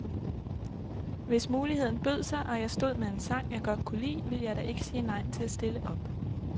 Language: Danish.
Hvis muligheden bød sig, og jeg stod med en sang, jeg godt kunne lide, ville jeg da ikke sige nej til at stille op.